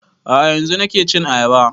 A'a yanzun nake cin ayaba